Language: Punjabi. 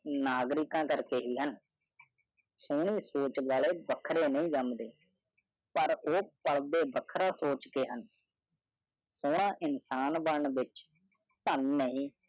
ਨਗਰਿਕਾ ਕਰ ਹੈ ਸੋਹਰੀ ਸੋਚ ਨਾਲ ਵਖਰੀ ਨਾ ਜੰਡੀ ਪਰ ਉਹ ਅਧਿਐਨ ਖਿੰਡੇ ਹੋਏ ਵਿਚਾਰਾਂ ਦੇ ਹਨ ਸੋਹਰਾ ਇੰਸਾਨ ਬਾਰ ਡੈਣ ਧਨ ਨਹੀਂ